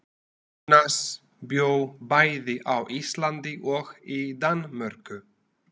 Jónas bjó bæði á Íslandi og í Danmörku.